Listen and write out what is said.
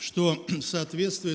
что соответствует